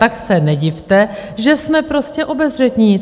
Tak se nedivte, že jsme prostě obezřetní.